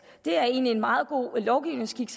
det er egentlig en meget god lovgivningsskik